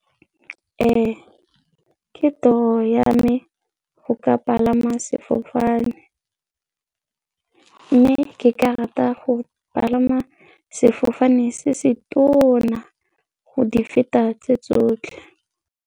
Ee, ke toro ya me go ka palama sefofane mme ke ka rata go palama sefofane se se tona go di feta tse tsotlhe.